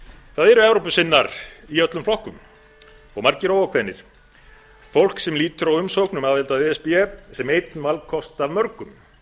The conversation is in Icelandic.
það eru evrópusinnar í öllum flokkum og margir óákveðnir fólk sem lítur á umsókn um aðild að e s b sem einn valkost af mörgum